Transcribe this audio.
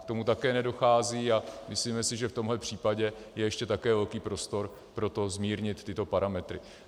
K tomu také nedochází a myslíme si, že v tomhle případě je ještě také velký prostor pro to zmírnit tyto parametry.